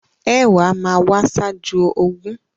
Ẹ̀wá máa wá ṣájú ogún.